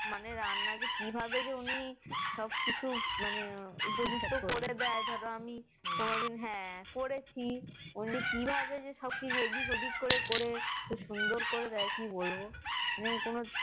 মানে রান্না যে কিভাবে যে উনি সব কিছু মানে উপযুক্ত করে দেয় যে ধরে আমি কোনোদিন হ্যাঁ করেছি কিন্তু কি ভাবে যে সব কিছু এদিক ওদিক করে করে সুন্দর করে দিয়ে কি বলবো মানে